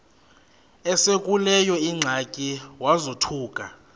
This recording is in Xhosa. esekuleyo ingxaki wazothuka